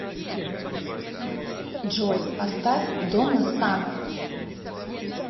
джой поставь донна саммер